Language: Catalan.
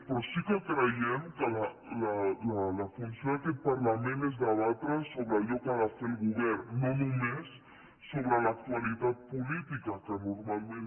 però sí que creiem que la funció d’aquest parlament és debatre sobre allò que ha de fer el govern no només sobre l’actualitat política que normalment